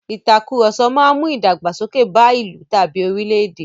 Ìtàkurọ̀sọ máa mú ìdàgbàsókè bá ìlú tàbí orílè-èdè.